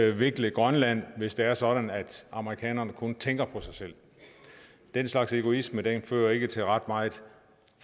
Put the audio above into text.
udvikle grønland hvis det er sådan at amerikanerne kun tænker på sig selv den slags egoisme fører ikke til ret meget